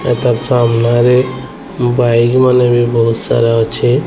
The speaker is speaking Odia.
ଏଥର୍ ସାମ୍ନାରେ ବାଇକ୍ ମାନେ ବି ବୋହୁତ୍ ସାରା ଅଛି।